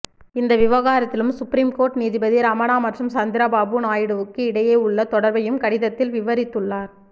இந்த விவாகரத்திலும் supreme court நீதிபதி ரமணா மற்றும் சந்திரபாபு நாயுடுவுக்கு இடையே உள்ள தொடர்பையும் கடிதத்தில் விவரித்துள்ளார்